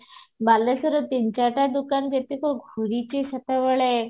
ବାଲେଶ୍ଵର ରେ ତିନି ଚାରିଟା ଦୋକାନ ଯେତେବେଳ ଘୁରିଛୁ ସେତେବେଳେ